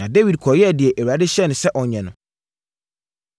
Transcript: Na Dawid kɔyɛɛ deɛ Awurade hyɛɛ no sɛ ɔnyɛ no.